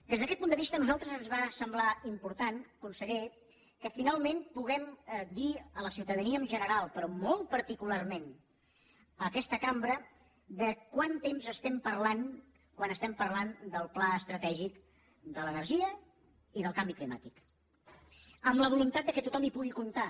des d’aquest punt de vista a nosaltres ens va semblar important conseller que finalment puguem dir a la ciutadania en general però molt particularment a aquesta cambra de quant temps estem parlant quan parlem del pla estratègic de l’energia i del canvi climàtic amb la voluntat que tothom hi pugui comptar